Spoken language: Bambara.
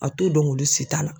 A t'o dɔn olu si ta la.